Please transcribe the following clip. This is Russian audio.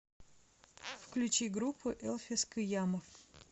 включи группу элфис кыямов